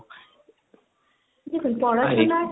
পড়াশোনার